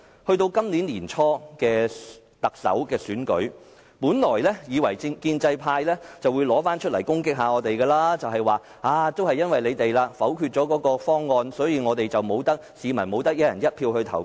到了今年年初的特首選舉，本來以為建制派會以此來攻擊我們，說因為你們否決了方案，所以市民不能"一人一票"投票。